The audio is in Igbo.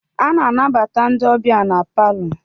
A na-anabata ndị ọbịa na palọ.